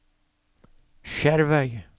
Skjervøy